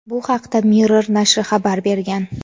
Bu haqda "Mirror" nashri xabar bergan.